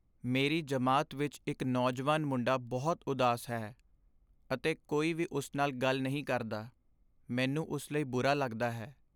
ਮੇਰੀ ਜਮਾਤ ਵਿੱਚ ਇਕ ਨੌਜਵਾਨ ਮੁੰਡਾ ਬਹੁਤ ਉਦਾਸ ਹੈ ਅਤੇ ਕੋਈ ਵੀ ਉਸ ਨਾਲ ਗੱਲ ਨਹੀਂ ਕਰਦਾ। ਮੈਨੂੰ ਉਸ ਲਈ ਬੁਰਾ ਲੱਗਦਾ ਹੈ।